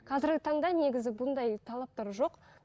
қазірге таңда негізі бұндай талаптар жоқ